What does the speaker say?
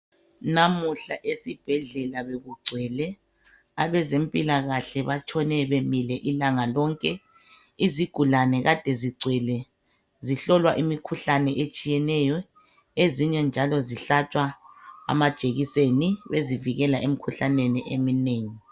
namuhla esibhedlela bekugcwele abezempilakahle batshone bemile ilanga lonke izigulane kade zigcwele zihlolwa imikhuhlane ethiyeneyo ezinye njalo zihlatshwa amajekiseni bezivikela emikhuhlaneni